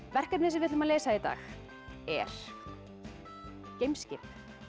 verkefnið sem við ætlum að leysa í dag er geimskip